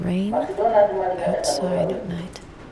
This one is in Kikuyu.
macdonald Mariga ena thogora ũrikũ